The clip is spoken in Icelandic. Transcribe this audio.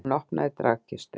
Hún opnaði dragkistu.